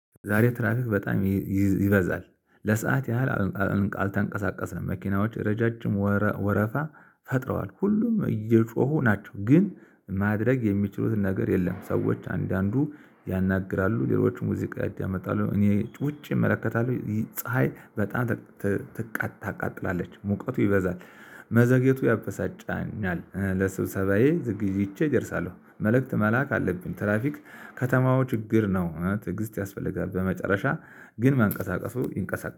ዛሬ ትራፊክ በጣም ይበዛል ለሰአት ያህል አልተንቀሳቀሰም መኪናዎች ረዣዥም ወረፋ ፈጥረዋል ሁሉም እየጮሁ ናቸው ግን ማድረግ የሚችሉትን ነገር የለም። ሰዎች አንዳንዱ ያናግራሉ ሌሎችም ሙዚቃ ያዳምጣሉ። እኔ ውጪ እመለከታለሁ ፀሀይ በጣም ታቃጥላለች ሙቀቱ ይበዛል። መዘግየቱ ያበሳጫኛል ለስብሰባዬ ዝግጅቼ እደርሳለሁ። መልእክት መላክ አለብን። ትራፊክ ከተማው ችግር ነው ትዕግስት ያስፈልጋል። በመጨረሻ ግን ማንቀሳቀሱ ይንቀሳቀሱ